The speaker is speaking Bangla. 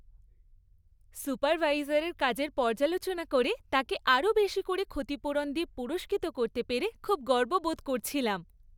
সুপারভাইজারের কাজের পর্যালোচনা করে তাঁকে আরও বেশি করে ক্ষতিপূরণ দিয়ে পুরস্কৃত করতে পেরে খুব গর্ব বোধ করছিলাম।